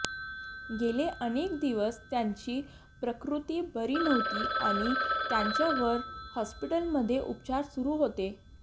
गेले अनेक दिवस त्यांची प्रकृती बरी नव्हती आणि त्यांच्यावर हॉस्पिटलमध्ये उपचार सुरू होते